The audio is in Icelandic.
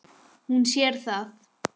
Hún sér það.